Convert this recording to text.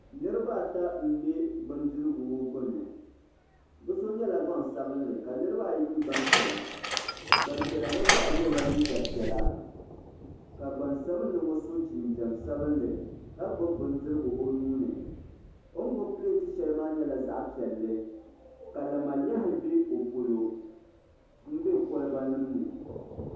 Niriba ata m be bindirigu ŋɔ gbini bɛ so nyɛla gbansabinli ka Niriba ayi nyɛ gbampiɛla gbampiɛla ŋɔ zaa yela liiga piɛla ka gbaŋsabinli ŋɔ so jinjiɛm sabinli ka gbibi bindirigu o nuuni o ni gbibi pileeti shɛli maa nyɛla zaɣa piɛlli ka lamalehi be o polo m be koliba nima ni.